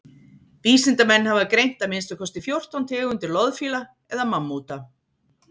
vísindamenn hafa greint að minnsta kosti fjórtán tegundir loðfíla eða mammúta